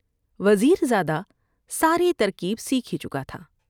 وزیر زادہ ساری ترکیب سیکھ ہی چکا تھا ۔